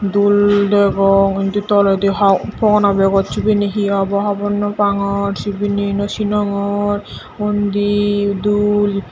dul degong indi toledi hon fogona begot sibeni hi obo hobor naw pangor sibeni naw sinongor undi dul.